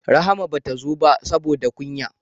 Rahima bata zo ba saboda kunya